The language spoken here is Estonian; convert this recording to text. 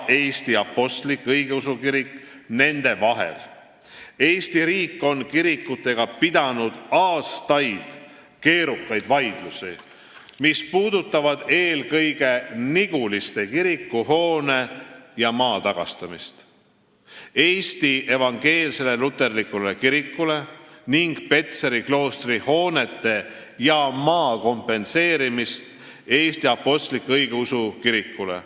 Eesti riik on kirikutega pidanud aastaid keerukaid vaidlusi, mis on puudutanud eelkõige Niguliste kiriku hoone ja maa tagastamist Eesti Evangeelsele Luterlikule Kirikule ning Petseri kloostri hoonete ja maa kompenseerimist Eesti Apostlik-Õigeusu Kirikule.